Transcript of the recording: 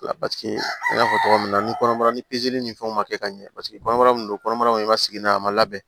Paseke n y'a fɔ togo min na ni kɔnɔbara ni ni fɛnw ma kɛ ka ɲɛ paseke kɔnɔbara min don kɔnɔbara kɔni ma sigi n'a ye a ma labɛn